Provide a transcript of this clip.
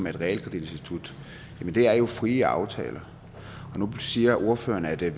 et realkreditinstitut er jo frie aftaler nu siger ordføreren at det er